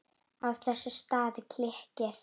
Á þessum stað klykkir